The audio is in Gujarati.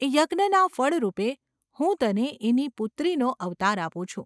એ યજ્ઞના ફળરૂપે હું તને એની પુત્રીનો અવતાર આપું છું.